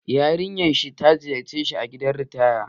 Yarinya sa ta ziyarce shi a gidan ritaya